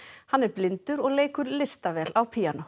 hann er blindur og leikur listavel á píanó